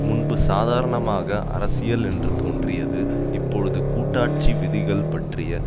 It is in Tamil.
முன்பு சாதாரணமாக அரசியல் என்று தோன்றியது இப்பொழுது கூட்டாட்சி விதிகள் பற்றிய